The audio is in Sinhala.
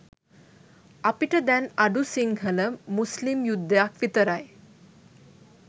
අපිට දැන් අඩු සිංහල මුස්ලිම් යුද්ධයක් විතරයි.